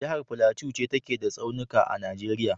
Jahar Plateau ce take da tsaunika a Najeriya.